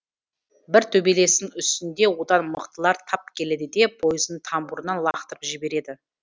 бір төбелестің үстінде одан мықтылар тап келеді де пойыздың тамбуырынан лақтырып жібереді